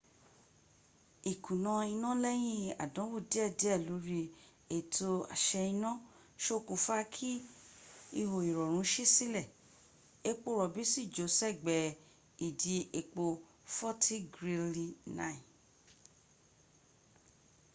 ìkùnà iná lẹ́yìn àdánwò dédé lóri ètò àṣẹ-iná ṣokùnfa kí ihò ìrọ̀rùn ṣí sílẹ̀ epo rọ̀bí sì jò sẹ́gbẹ́ ìdí epo forti grili 9